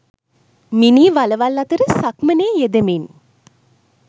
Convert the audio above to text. මිනී වළවල් අතර සක්මනේ යෙදෙමින්